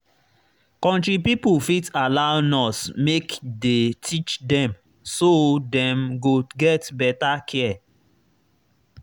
country pipo fit allow nurse make dey teach dem so dem go get better care.